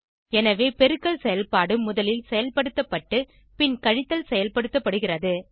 எனவே பெருக்கல் செயல்பாடு முதலில் செயல்படுத்தப்பட்டு பின் கழித்தல் செயல்படுத்தப்படுகிறது